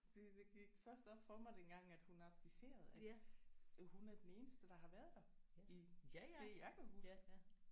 Det det gik først op for mig dengang at hun abdicerede at hun er den eneste der har været der i det jeg kan huske